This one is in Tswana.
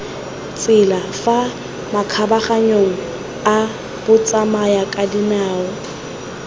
tsela fa makgabaganyong a batsamayakadinao